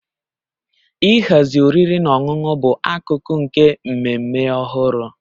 Ịhazi oriri na ọṅụṅụ bụ akụkụ nke mmemme ọhụrụ